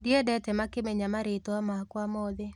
Ndiendete makĩmenya marĩtwa makwa mothe